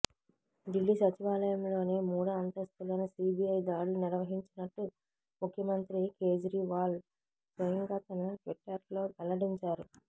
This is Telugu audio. ఢిల్లీ సచివాలయంలోని మూడో అంతస్తులో సిబిఐ దాడులు నిర్వహించినట్టు ముఖ్యమంత్రి కేజ్రీవాల్ స్వయంగా తన ట్విట్టర్లో వెల్లడించారు